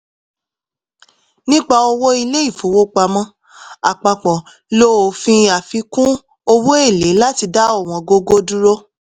nípa owó ilé-ifowópamọ́ àpapọ̀ lo òfin àfikún owo-èlé láti dá ọ̀wọ́ngógó dúró.